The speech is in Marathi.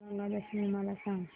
गंगा दशमी मला सांग